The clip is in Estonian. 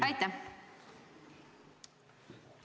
Jah, aitäh!